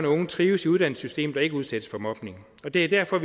unge trives i uddannelsessystemet og ikke udsættes for mobning det er derfor at